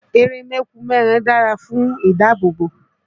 Eré mẹ́kùn mẹ́ran dàra fún ìdáàbòbò